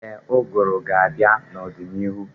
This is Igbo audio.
Ee, ụgụrụ ga-abịa n'ọdịnihu.